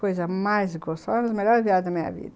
Coisa mais gostosa, foi a melhor viagem da minha vida.